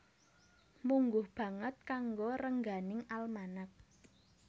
Mungguh banget kanggo rengganing almanak